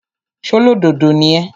ṣólódodo ni ẹ́?